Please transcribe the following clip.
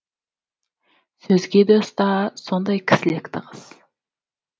сөзге де ұста сондай кісілікті қыз